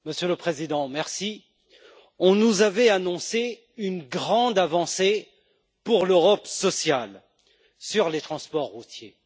Monsieur le Président, on nous avait annoncé une grande avancée pour l'Europe sociale sur les transports routiers.